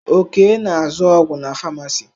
Okay na azụ ọgwụ na famacii.